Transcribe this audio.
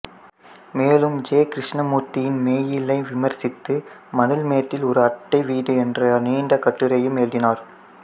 மேலும் ஜே கிருஷ்ணமூர்த்தியின் மெய்யியலை விமர்சித்து மணல்மேட்டில் ஒரு அட்டை வீடு என்ற நீண்ட கட்டுரையும் எழுதினார்